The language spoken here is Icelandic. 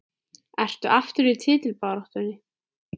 Ertu aftur í titilbaráttunni?